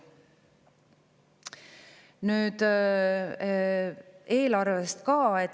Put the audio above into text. Nüüd eelarvest ka.